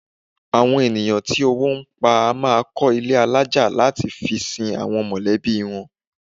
Àwọn ènìyàn tí owó ń pa a máa kọ́ ilé alájà láti fi sin àwọn mọ̀lẹ́bí wọn